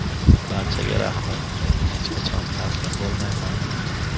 Barchaga rahmat, men hech qachon taslim bo‘lmayman.